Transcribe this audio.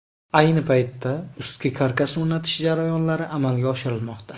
Ayni paytda ustki karkas o‘rnatish jarayonlari amalga oshirilmoqda.